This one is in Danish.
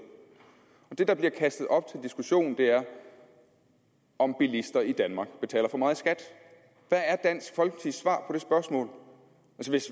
det der bliver kastet op til diskussion er om bilister i danmark betaler for meget i skat hvad er dansk folkepartis svar på det spørgsmål